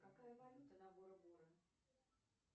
какая валюта на бора бора